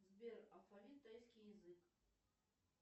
сбер алфавит тайский язык